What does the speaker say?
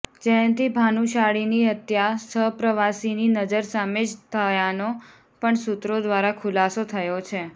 જયંતી ભાનુશાળીની હત્યા સહપ્રવાસીની નજર સામે જ થયાનો પણ સૂત્રો દ્વારા ખુલાસો થયો છે